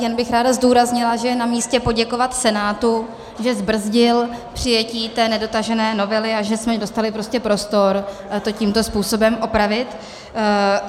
Jen bych ráda zdůraznila, že je namístě poděkovat Senátu, že zbrzdil přijetí té nedotažené novely a že jsme dostali prostor to tímto způsobem opravit.